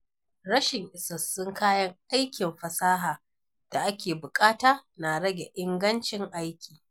Rashin isassun kayan aikin fasaha da ake buƙata na rage ingancin aiki.